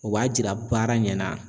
O b'a jira baara ɲɛna